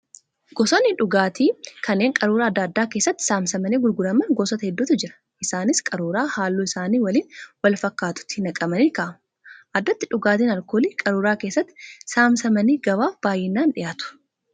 Gosoonni dhugaatii kanneen qaruuraa adda addaa keessatti saamsamanii gurguraman gosoota hedduutu jira. Isaanis qaruuraa halluu isaanii waliin wal fakkaatutti naqamanii kaa'amu. Addatti dhugaatiin alkoolii qaruuraa keessatti saamsamanii gabaaf baay'inaan dhiyaatu